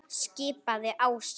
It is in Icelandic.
skipaði Ási.